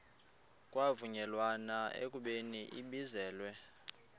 kwavunyelwana ekubeni ibizelwe